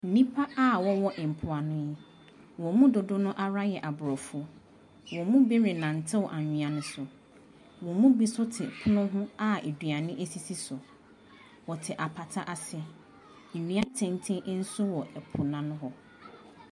Nnipa a wɔwɔ mpoano yi, wɔn mu dodoɔ no ara yɛ aborɔfo. Wɔn mu renante anwea no so. Wɔn mu bi nso te pono ho a aduane sisi so. Wɔte apata ase. Nnua atenten nso wɔ po no ano hɔ.